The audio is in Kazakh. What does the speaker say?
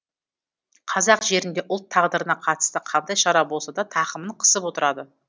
қазақ жерінде ұлт тағдырына қатысты қандай шара болса да тақымын қысып отырады